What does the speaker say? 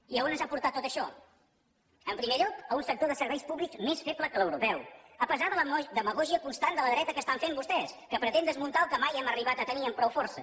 i a on ens ha portat tot això en primer lloc a un sector de serveis públics més feble que l’europeu a pesar de la demagògia constant de la dreta que estan fent vostès que pretén desmuntar el que mai hem arribat a tenir amb prou força